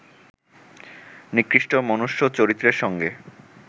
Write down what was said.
নিকৃষ্ট মনুষ্য-চরিত্রের সঙ্গে